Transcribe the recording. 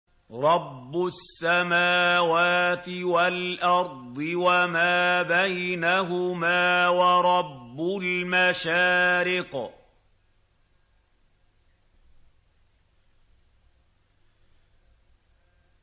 رَّبُّ السَّمَاوَاتِ وَالْأَرْضِ وَمَا بَيْنَهُمَا وَرَبُّ الْمَشَارِقِ